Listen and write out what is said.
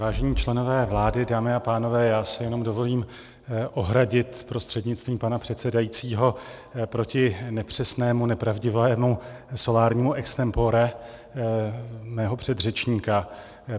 Vážení členové vlády, dámy a pánové, já se jenom dovolím ohradit prostřednictvím pana předsedajícího proti nepřesnému, nepravdivému solárnímu extempore svého předřečníka.